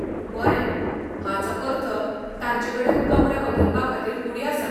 बरें, हाचो अर्थ तांचेकडेन कपडे बदलपाखातीर कूडी आसात.